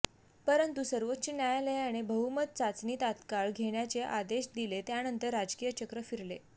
परंतू सर्वोच्च न्यायालयाने बहुमत चाचणी तात्काळ घेण्याचे आदेश दिले त्यानंतर राजकीय चक्र फिरली